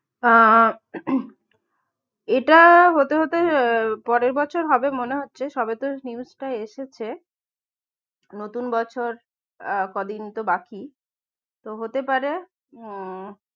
না এটা হতে হতে আহ পরের বছর হবে মনে হচ্ছে সবে তো জিনিসটা এসেছে নতুন বছর আর কদিন তো বাকি তো হতে পারে উম